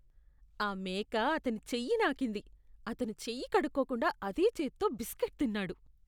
ఆ మేక అతని చెయ్యి నాకింది, అతను చెయ్యి కడుక్కోకుండా అదే చేత్తో బిస్కెట్ తిన్నాడు.